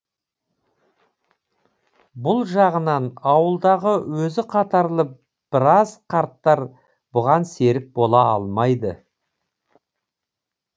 бұл жағынан ауылдағы өзі қатарлы біраз қарттар бұған серік бола алмайды